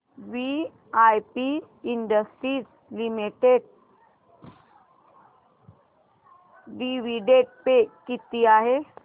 VIP industries limited dividend पे किती आहे